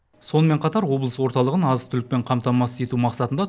сонымен қатар облыс орталығын азық түлікпен қамтамасыз ету мақсатында